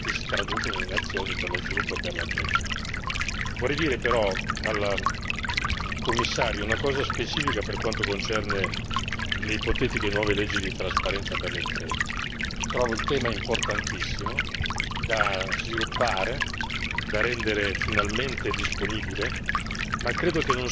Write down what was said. Vorrei dire però al Commissario una cosa specifica per quanto concerne le ipotetiche nuove leggi di trasparenza per le imprese trovo il tema importantissimo da sviluppare, da rendere finalmente disponibile, ma credo che non sia questo l'ambito nel quale cercare di introdurre l'argomento.